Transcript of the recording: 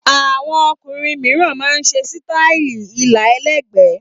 Àwọn ọkùnrin mìíràn máa ń ṣe sítáálì ilà ẹlẹ́gbẹ̀ẹ́.